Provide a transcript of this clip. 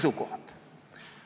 Lugupeetud kolleegid!